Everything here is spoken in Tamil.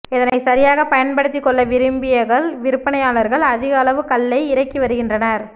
இதனை சரியாக பயன்படுத்திக்கொள்ள விரும்பிய கள் விற்பனையாளர்கள் அதிகளவு கள்ளை இறக்கி வருகின்றனர்